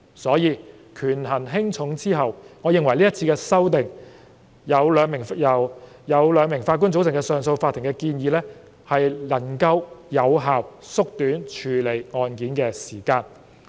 所以，在權衡輕重後，我認為這次有關由兩名法官組成的上訴法庭的修訂建議能夠有效縮短處理案件的時間。